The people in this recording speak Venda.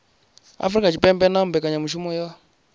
afurika tshipembe na mbekanyamaitele ya